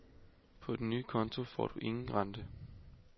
På den nye konto får du ingen rente.